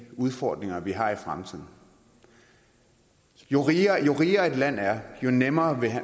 udfordringer vi har i fremtiden jo rigere jo rigere et land er jo nemmere